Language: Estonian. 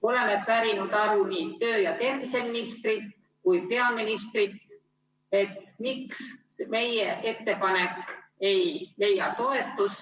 Oleme pärinud aru nii tervise‑ ja tööministrilt kui ka peaministrilt, miks meie ettepanek ei leia toetust.